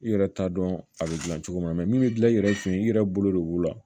I yɛrɛ t'a dɔn a bɛ gilan cogo min na min bɛ dilan i yɛrɛ fɛ yen i yɛrɛ bolo de b'o la